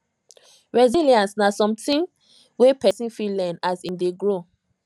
resilience na something wey person fit learn as im dey grow